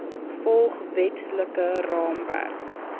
volg wetlike raamwerk